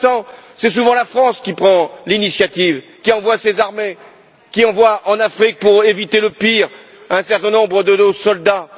Pour l'instant, c'est souvent la France qui prend l'initiative, qui envoie ses armées, qui envoie en Afrique, pour éviter le pire, un certain nombre de nos soldats.